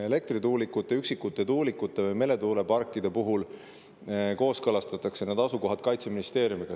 Üksikute elektrituulikute ja meretuuleparkide puhul kooskõlastatakse need asukohad Kaitseministeeriumiga.